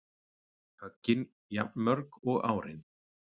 Höggin jafnmörg og árin